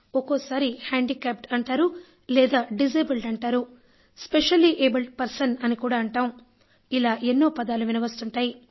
ఒక్కోసారి హాండిక్యాప్డ్ అంటారు లేదా డిజబుల్డ్ అంటారు స్పెషల్లీ అబ్లెడ్ పెర్సన్ అంటాం ఇలా ఎన్నో పదాలు వినవస్తుంటాయి